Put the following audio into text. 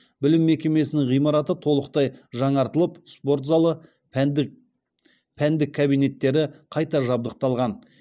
білім мекемесінің ғимараты толықтай жаңартылып спорт залы пәндік кабинеттері қайта жабдықталған